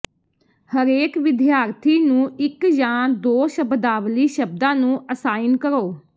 ਹਰੇਕ ਵਿਦਿਆਰਥੀ ਨੂੰ ਇਕ ਜਾਂ ਦੋ ਸ਼ਬਦਾਵਲੀ ਸ਼ਬਦਾਂ ਨੂੰ ਅਸਾਈਨ ਕਰੋ